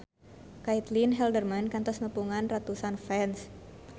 Caitlin Halderman kantos nepungan ratusan fans